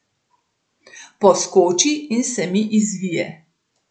Poskoči in se mi izvije.